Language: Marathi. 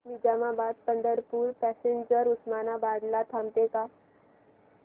निजामाबाद पंढरपूर पॅसेंजर उस्मानाबाद ला थांबते का